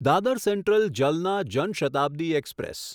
Dadar central Jalna Jan Shatabdi express